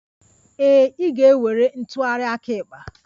Ee, ị ga-ewere ntụgharị aka ekpe.